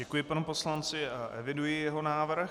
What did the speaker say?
Děkuji panu poslanci a eviduji jeho návrh.